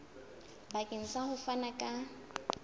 bakeng sa ho fana ka